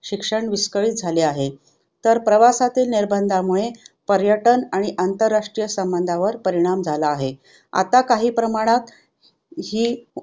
शिक्षण विस्कळित झाले आहे तर प्रवासातील निर्बंधामूळे पर्यटन आणि आंतरराष्ट्रीय संबंधावर परिणाम झाला आहे. आता काही प्रमाणात ही